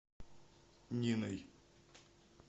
ниной